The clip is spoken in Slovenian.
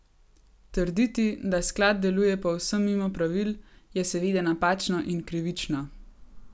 Trditi, da sklad deluje povsem mimo pravil, je seveda napačno in krivično.